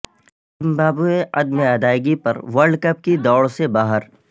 Zimbabwe عدم ادائیگی پر ورلڈ کپ کی دوڑ سے باہر